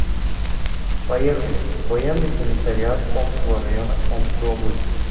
поехали военный комиссариат омского района омской области